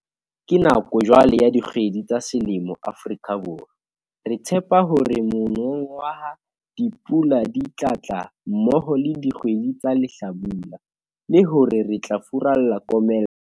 Ke nako jwale ya dikgwedi tsa selemo Afrika Borwa. Re tshepa hore monongwaha dipula di tla tla mmoho le dikgwedi tsa lehlabula, le hore re tla furalla komello.